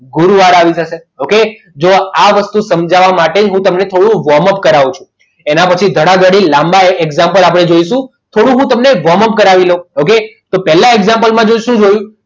ગુરુવાર આવી જશે okay જો આ વસ્તુ સમજાવવા માટે તમને થોડું વોમ અપ કરાવું છું એના માટે ધડાધડી લાંબા example આપણે જોઇશું થોડું હું તમને કરાવી લઉં ઓકે તો પહેલા example માં જોઈશું.